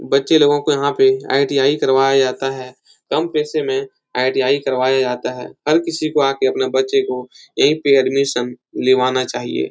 बच्चे लोगों को यहाँ पे आई.टी.आई करवाया जाता है। कम पैसे में आई.टी.आई करवाया जाता है। हर किसी को आ के अपने बच्चे को यहीं पे एडमिशन लीवाना चाहिए।